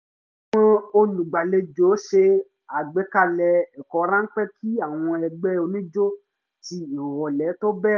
àwọn olùgbàlejò ṣe àgbékalè ẹ̀kọ́ ráńpẹ́ kí àwọn ẹgbẹ́ oníjó ti ìrọ̀lẹ́ tó bẹ̀rẹ̀